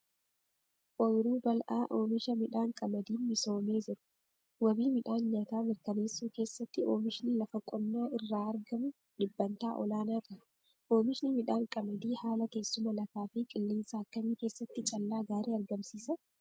Ooyiruu bal'aa oomisha midhaan qamadiin misoomee jiru. Wabii midhaan nyaataa mirkaneessuu keessatti Oomishni lafa qonnaa irraa argamu dhibbantaa olaanaa qaba. Oomishni midhaan qamadii haala teessuma lafaa fi qilleensa akkamii keessatti callaa gaarii argamsiisa?